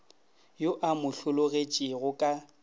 yo a mo hlologetšego ka